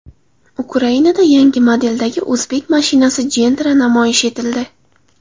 Ukrainada yangi modeldagi o‘zbek mashinasi Gentra namoyish etildi.